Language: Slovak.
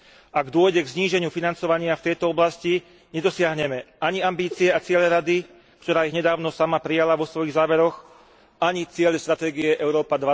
Ak dôjde k zníženiu financovania v tejto oblasti, nedosiahneme ani ambície a ciele Rady, ktorá ich nedávno sama prijala vo svojich záveroch, ani ciele stratégie Európa